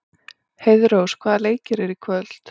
Heiðrós, hvaða leikir eru í kvöld?